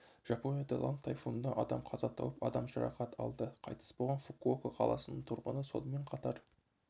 жапонияда лан тайфунынан адам қаза тауып адам жарақат алды қайтыс болған фукуока қаласының тұрғыны сонымен қатар